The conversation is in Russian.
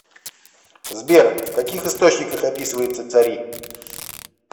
сбер в каких источниках описывается цари